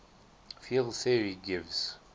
field theory gives